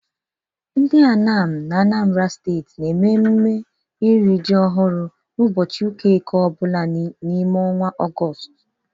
Ndị Anam n'Anambara steeti na-eri ji ọhụrụ n'ụbọchị ụka Eke ọ bụla n'ime ọnwa Ọgọstụ.